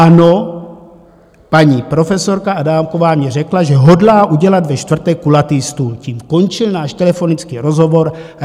Ano, paní profesorka Adámková mně řekla, že hodlá udělat ve čtvrtek kulatý stůl, tím končil náš telefonický rozhovor.